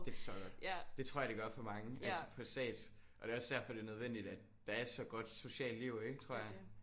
Det forstår jeg godt. Det tror jeg det gør for mange altså på stats og det er også derfor det er nødvendigt at der er så godt socialt liv ik tror jeg